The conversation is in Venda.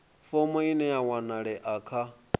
fomo ine ya wanalea kha